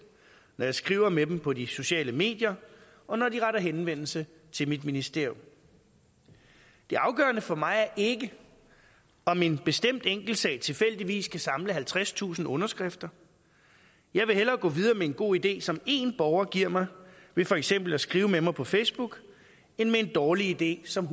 når jeg skriver med dem på de sociale medier og når de retter henvendelse til mit ministerium det afgørende for mig er ikke om en bestemt enkeltsag tilfældigvis kan samle halvtredstusind underskrifter jeg vil hellere gå videre med en god idé som en borger giver mig ved for eksempel at skrive med mig på facebook end med en dårlig idé som